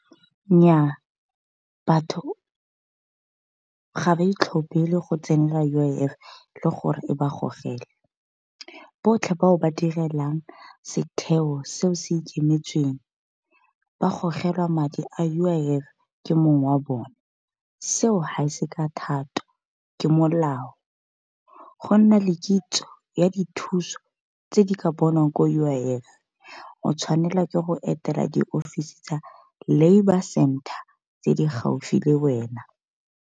Nnya batho ga ba itlhophele go tsenela U_I_F le gore e ba gogele, botlhe ba o ba direlang setheo seo se ikemetsweng. Ba gogelwa madi a U_I_F ke mong wa bone. Seo ha se ka thato ke molao, gonna le kitso ya dithuso tse di ka bonwang ko U_I_F o tshwanelwa ke go etela di-office tsa labour center tse di gaufi le wena.